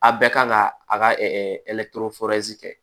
A bɛɛ kan ka a ka kɛ